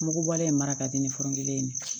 Mugu bɔlen in mara ka di ni fɔrongɛ in ye